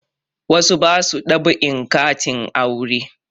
Wasu ba su dab'in katin aure